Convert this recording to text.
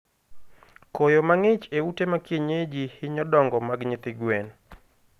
Koyo mangich e ute ma kienyeji hinyo dongo mag nyithi gwen